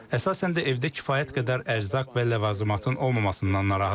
Əsasən də evdə kifayət qədər ərzaq və ləvazimatın olmamasından narahatıq.